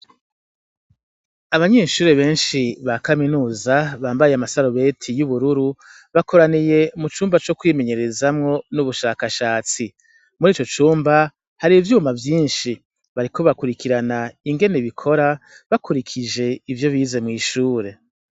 Abanyeshure benshi ba kaminuza bambaye amasarubeti y'ubururu , bakoraniye mu cumba co kwimenyerezamwo n'ubushakashatsi . Mur'ico cumba hari ivyuma vyinshi bariko bakurikirana ingene bikora bakurikije ivyo bize mw'ishure.